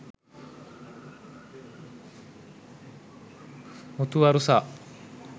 muthu warusa